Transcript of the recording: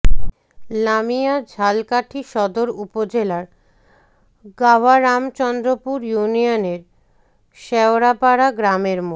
লামিয়া ঝালকাঠি সদর উপজেলার গাভারামচন্দ্রপুর ইউনিয়নের শেওড়াপারা গ্রামের মো